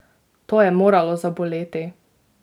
To je moralo zaboleti!